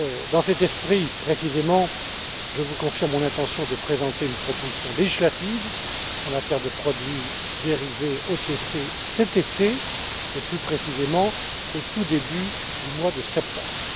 Dans cet esprit précisément, je vous confirme mon intention de présenter une proposition législative en matière de produits dérivés OTC cet été, et, plus précisément, au tout début du mois de septembre.